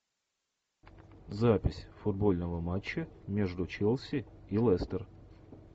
запись футбольного матча между челси и лестер